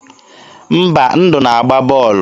Mba, Ndụ na-agba bọọlụ.